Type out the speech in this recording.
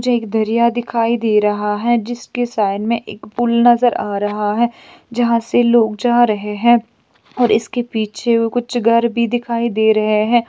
जे दरिया दिखाई दे रहा है जिसके साइड में पूल नजर आ रहा है जहाँ से लोग जा रहे हैं और इसके पीछे कुछ घर भी दिखाई दे रहे है।